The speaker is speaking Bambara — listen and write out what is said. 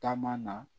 Taama na